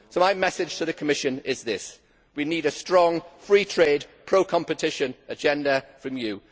My message to the Commission is this we need a strong, free trade, pro competition agenda from you.